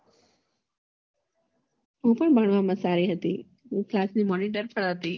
હું પણ ભણવામાં સારી હતી હું class ની monitor પણ હતી